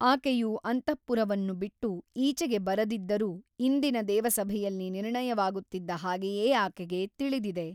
ಆಕೆಯು ಅಂತಃಪುರವನ್ನು ಬಿಟ್ಟು ಈಚೆಗೆ ಬರದಿದ್ದರೂ ಇಂದಿನ ದೇವಸಭೆಯಲ್ಲಿ ನಿರ್ಣಯವಾಗುತ್ತಿದ್ದ ಹಾಗೆಯೇ ಆಕೆಗೆ ತಿಳಿದಿದೆ.